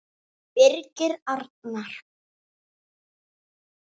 Birgir Arnar.